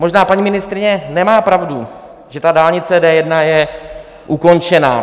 Možná paní ministryně nemá pravdu, že dálnice D1 je ukončena.